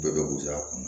Bɛɛ bɛ kuya kɔnɔ